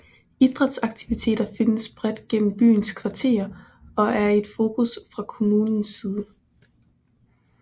Idrætsaktiviteter findes bredt gennem byens kvarterer og er et fokus fra kommunens side